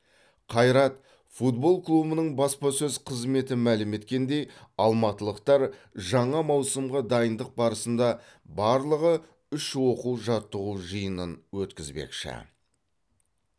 қайрат футбол клубының баспасөз қызметі мәлім еткеніндей алматылықтар жаңа маусымға дайындық барысында барлығы үш оқу жаттығу жиынын өткізбекші